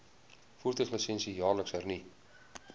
voertuiglisensie jaarliks hernu